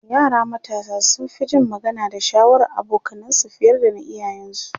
yara matasa sun Fi Jin magana da shawarar abokanansu fiye da na iyayen su